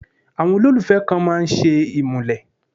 Àwọn olólùfẹ́ kan máa ń ṣe ìmúlẹ̀.